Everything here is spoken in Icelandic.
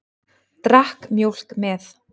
Drakk mjólk með.